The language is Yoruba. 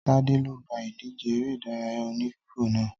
Tade lo gba idje eré ìdárayá oní fífò náà